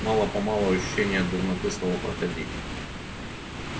мало-помалу ощущение дурноты стало проходить